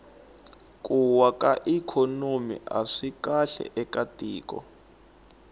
ku wa ka ikhonomi aswi kahle eka tiko